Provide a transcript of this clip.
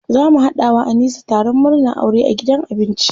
Za mu haɗa wa Anisa taron murnan aure a gidan abinci.